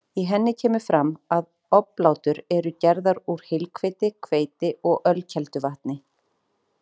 Í henni kemur fram að oblátur eru gerðar úr heilhveiti, hveiti og ölkelduvatni.